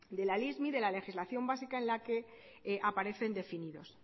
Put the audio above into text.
de la lismi de la legislación básica en la que aparecen definidos